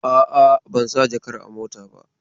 A'a, ban sa jakar a mota ba.